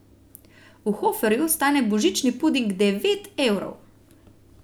V Hoferju stane božični puding devet evrov.